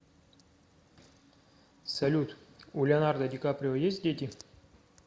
салют у леонардо ди каприо есть дети